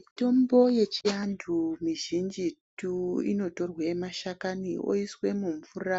Mitombo yechiantu mizhinjitu inotorwe mashakani oiswe mumvura